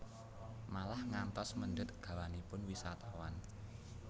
Malah ngantos mendhet gawanipun wisatawan